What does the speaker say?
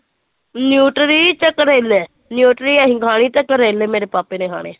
ਨਿਊਟਰੀ ਤੇ ਕਰੇਲੇ, ਨਿਊਟਰੀ ਅਸੀਂ ਖਾਣੀ ਤੇ ਕਰੇਲੇ ਮੇਰੇ ਪਾਪੇ ਨੇ ਖਾਣੇ ਆਂ।